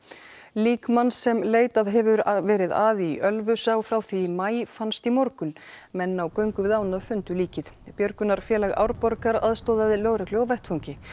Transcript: lík manns sem leitað hefur verið að í Ölfusá frá því í maí fannst í morgun menn á göngu við ána fundu líkið björgunarfélag Árborgar aðstoðaði lögreglu á vettvangi